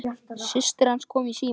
Systir hans kom í símann.